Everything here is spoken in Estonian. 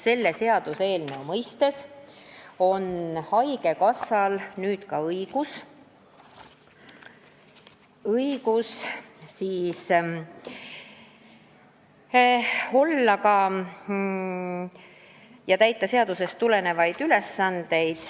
Selle seaduseelnõu mõistes on haigekassal nüüd ka õigus täita seadusest tulenevaid ülesandeid.